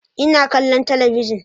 Ina kallon talabijin